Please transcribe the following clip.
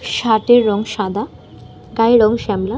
Shirt -এর রং সাদা। গায়ের রং শ্যামলা।